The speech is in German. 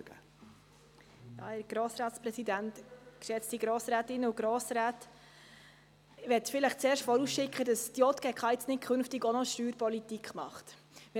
Ich will vorausschicken, dass die JGK in Zukunft nicht auch noch Steuerpolitik machen wird.